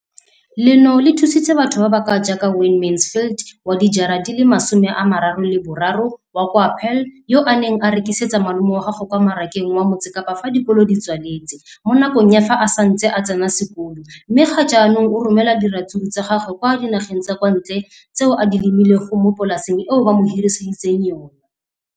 leno le thusitse batho ba ba jaaka Wayne Mansfield, 33, wa kwa Paarl, yo a neng a rekisetsa malomagwe kwa Marakeng wa Motsekapa fa dikolo di tswaletse, mo nakong ya fa a ne a santse a tsena sekolo, mme ga jaanong o romela diratsuru tsa gagwe kwa dinageng tsa kwa ntle tseo a di lemileng mo polaseng eo ba mo hiriseditseng yona.